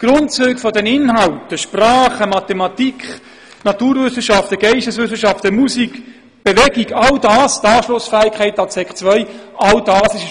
die Grundzüge der Inhalte, Sprachen, Mathematik, Naturwissenschaften, Geisteswissenschaften, Musik, Bewegung; die Anschlussfähigkeit an die Sekundarstufe II.